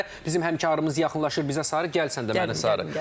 Bizim həmkarımız yaxınlaşır bizə Sarı, gəl sən də mənə Sarı.